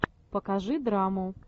покажи драму